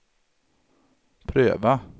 pröva